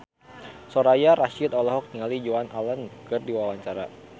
Soraya Rasyid olohok ningali Joan Allen keur diwawancara